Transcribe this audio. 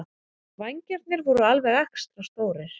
Vængirnir voru alveg extra stórir.